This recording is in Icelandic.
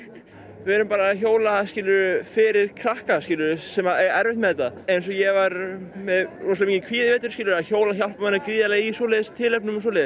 við erum bara að hjóla fyrir krakka sem eiga erfitt með þetta eins og ég var með rosa mikinn kvíða í vetur að hjóla hjálpar manni gríðarlega mikið í svoleiðis tilefnum og svoleiðis